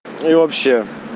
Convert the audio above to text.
и вообще